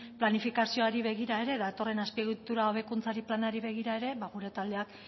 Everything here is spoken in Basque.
planifikazioari begira ere datorren azpiegitura hobekuntzaren planari begira ere gure taldeak